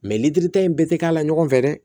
litiri ta in bɛɛ tɛ k'a la ɲɔgɔn fɛ dɛ